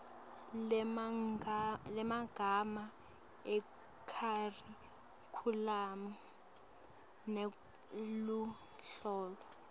lwemagama ekharikhulamu neluhlolo